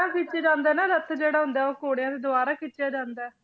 ਖਿੱਚਿਆ ਜਾਂਦਾ ਨਾ ਰੱਥ ਜਿਹੜਾ ਹੁੰਦਾ ਹੈ ਉਹ ਘੋੜਿਆਂ ਦੇ ਦੁਆਰਾ ਖਿੱਚਿਆ ਜਾਂਦਾ ਹੈ।